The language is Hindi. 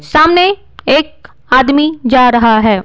सामने एक आदमी जा रहा है।